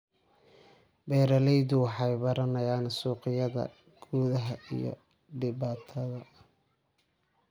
Beeraleydu waxay baranayaan suuqyada gudaha iyo dibadda.